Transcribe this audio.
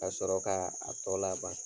Kasɔrɔ kaa a tɔ laban.